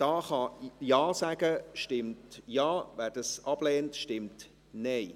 Wer Ja sagen kann, stimmt Ja, wer dies ablehnt, stimmt Nein.